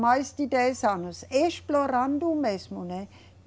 Mais de dez anos explorando o mesmo, né?